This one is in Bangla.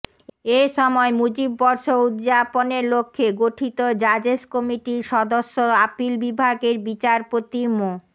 এ সময় মুজিব বর্ষ উদযাপনের লক্ষ্যে গঠিত জাজেস কমিটির সদস্য আপিল বিভাগের বিচারপতি মো